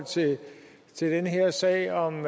til den her sag om